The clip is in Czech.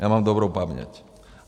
Já mám dobrou paměť.